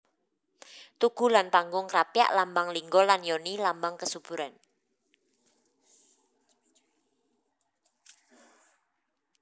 Tugu lan Panggung Krapyak lambang lingga lan yoni lambang kesuburan